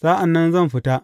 Sa’an nan zan fita.